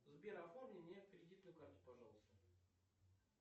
сбер оформи мне кредитную карту пожалуйста